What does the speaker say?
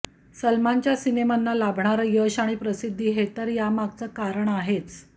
सलमानच्या सिनेमांना लाभणारं यश आणि प्रसिद्धी हे तर यामागचं कारण आहेच